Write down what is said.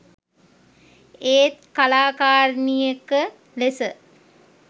ඒත් කලාකාරිනියක ලෙස